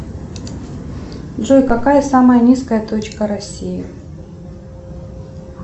джой какая самая низкая точка россии